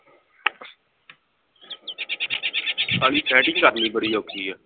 setting ਕਰਨੀ ਬੜੀ ਔਖੀ ਆ